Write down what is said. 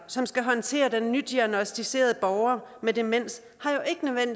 som skal håndtere den nydiagnosticerede borger med demens